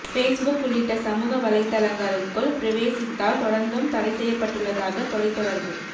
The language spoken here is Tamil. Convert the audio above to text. பேஸ்புக் உள்ளிட்ட சமூக வலைத்தளங்களுக்குள் பிரவேசித்தல் தொடர்ந்தும் தடை செய்யப்பட்டுள்ளதாக தொலைத்தொடர்பு